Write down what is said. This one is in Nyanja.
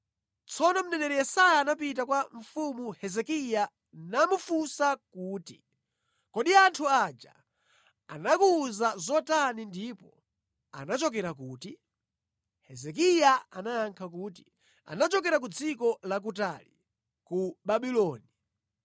Tsono mneneri Yesaya anapita kwa Mfumu Hezekiya namufunsa kuti, “Kodi anthu aja anakuwuzani zotani ndipo anachokera kuti?” Hezekiya anayankha kuti, “Anachokera ku dziko lakutali, ku Babuloni.”